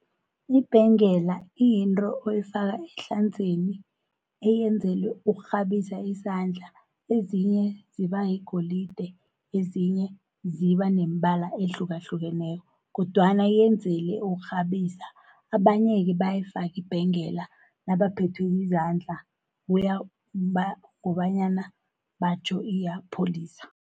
Ibhengela iyinto oyifaka ehlanzeni eyenzelwe ukukghabisa isandla. Ezinye zibayigolide, ezinye zibaneembala ehlukahlukeneko, kodwana yenzele ukukghabisa. Abanye-ke bayayifaki ibhengela nabaphethwe yizandla, kobanyana batjho iyabapholisa.